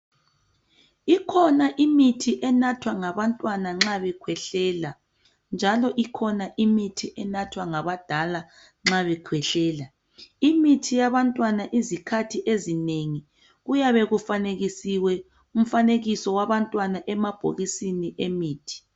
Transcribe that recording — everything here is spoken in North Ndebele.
Ikhona imithi enathwa ngabantwana nxa bekhwehlela njalo ikhona imithi enathwa ngabadala nxa bekhwehlela, imithi yabantwana izikhathi ezinengi kuyabe kufanekisiwe umfanekiso wabantwana emabhokisini emithi.